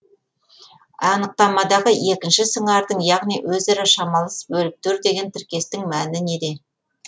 анықтамадағы екінші сыңардың яғни өзара шамалас бөліктер деген тіркестің мәні неде